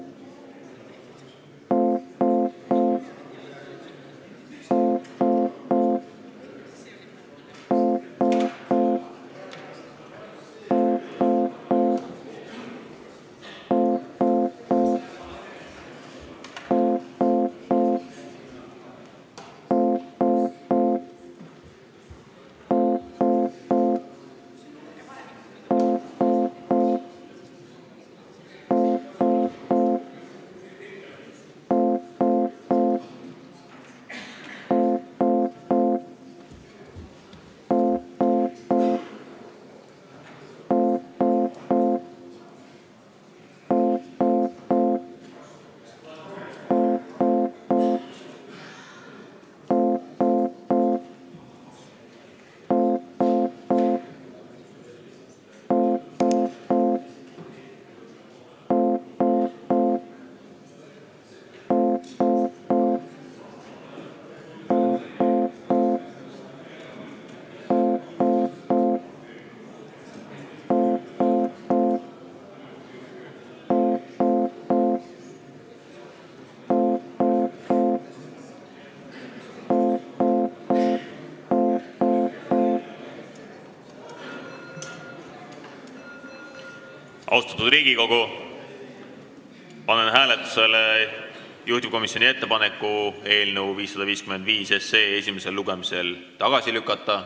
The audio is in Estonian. Austatud Riigikogu, panen hääletusele juhtivkomisjoni ettepaneku eelnõu 555 esimesel lugemisel tagasi lükata.